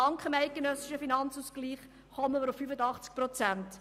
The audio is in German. Dank dem eidgenössischen Finanzausgleich kommen wir auf 85 Prozent.